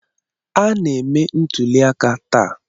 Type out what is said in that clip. A na-eme ntuli aka taa.